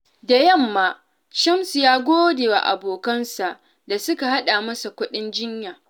Da yamma, Shamsu ya gode wa abokansa da suka haɗa masa kuɗin jinya.